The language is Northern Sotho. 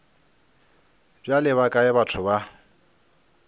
bjale ba kae batho ba